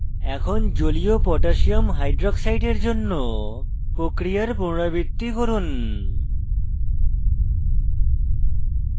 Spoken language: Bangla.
এখন জলীয় potassium হাইক্সাইড aq koh এর জন্য প্রক্রিয়ার পুনরাবৃত্তি করুন